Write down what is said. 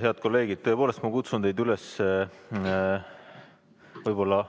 Head kolleegid, tõepoolest, ma kutsun teid üles võib-olla